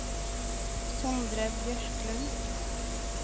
Sondre Bjørklund